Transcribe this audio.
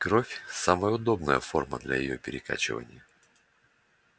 кровь самая удобная форма для её перекачивания